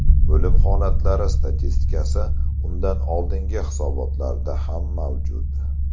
O‘lim holatlari statistikasi undan oldingi hisobotlarda ham mavjud.